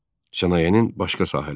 Sənayenin başqa sahələri.